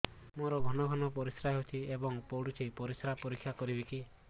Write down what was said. ମୋର ଘନ ଘନ ପରିସ୍ରା ହେଉଛି ଏବଂ ପଡ଼ୁଛି ପରିସ୍ରା ପରୀକ୍ଷା କରିବିକି